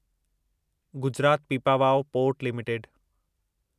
Gujarat Pipavav port limited